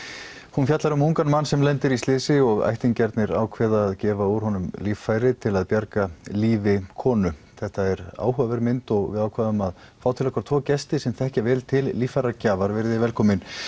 hún fjallar um ungan mann sem lendir í slysi og ættingjarnir ákveða að gefa úr honum líffæri til að bjarga lífi konu þetta er áhugaverð mynd og við ákváðum að fá til okkar tvo gesti sem þekkja vel til líffæragjafar verið velkomin